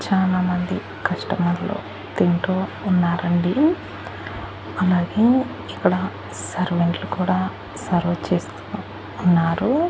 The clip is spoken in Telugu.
చానా మంది కస్టమర్ లు తింటూ ఉన్నారండి. అలాగే ఇక్కడ సర్వెంట్ లు కూడా సర్వ్ చేస్తు ఉన్నారు.